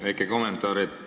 Väike kommentaar.